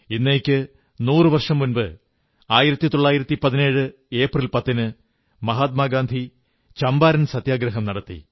ഇന്നേക്ക് നൂറു വർഷം മുമ്പ് 1917 ഏപ്രിൽ 10 ന് മഹാത്മാ ഗാന്ധി ചമ്പാരൻ സത്യഗ്രഹം നടത്തി